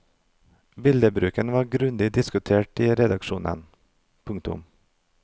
Billedbruken var grundig diskutert i redaksjonene. punktum